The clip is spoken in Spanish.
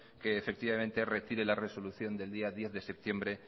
que efectivamente retire la resolución del día diez de septiembre